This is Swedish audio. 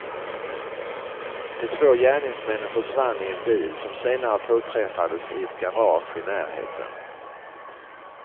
De två gärningsmännen försvann i en bil som senare påträffades i ett garage i närheten.